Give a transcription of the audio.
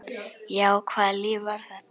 Já, hvaða líf var þetta?